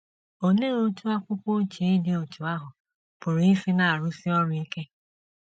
Olee otú akwụkwọ ochie dị otú ahụ pụrụ isi na - arụsi ọrụ ike?